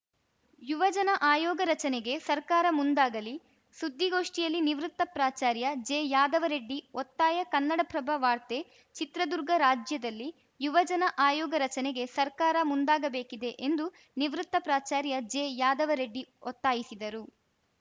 ಯುವಜನ ಆಯೋಗ ರಚನೆಗೆ ಸರ್ಕಾರ ಮುಂದಾಗಲಿ ಸುದ್ದಿಗೋಷ್ಠಿಯಲ್ಲಿ ನಿವೃತ್ತ ಪ್ರಾಚಾರ್ಯ ಜೆಯಾದವರೆಡ್ಡಿ ಒತ್ತಾಯ ಕನ್ನಡಪ್ರಭ ವಾರ್ತೆ ಚಿತ್ರದುರ್ಗ ರಾಜ್ಯದಲ್ಲಿ ಯುವಜನ ಆಯೋಗ ರಚನೆಗೆ ಸರ್ಕಾರ ಮುಂದಾಗಬೇಕಿದೆ ಎಂದು ನಿವೃತ್ತ ಪ್ರಾಚಾರ್ಯ ಜೆಯಾದವರೆಡ್ಡಿ ಒತ್ತಾಯಿಸಿದರು